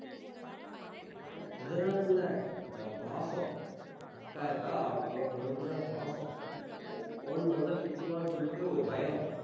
அதனால இல்ல, நான் பாசம். அக்கா இருக்கா, அவகிட்ட பேசணுங்கிற பாசம். phone பண்ணலைன்னா திட்டுவான்னு சொல்லிட்டு ஒரு பயம்.